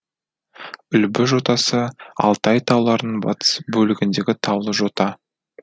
үлбі жотасы алтай тауларының батыс бөлігіндегі таулы жота